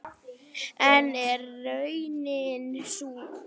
En er raunin sú?